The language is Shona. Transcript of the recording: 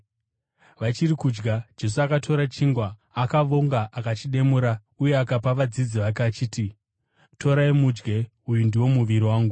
Vachiri kudya, Jesu akatora chingwa, akavonga akachimedura, uye akapa vadzidzi vake, achiti, “Torai mudye; uyu ndiwo muviri wangu.”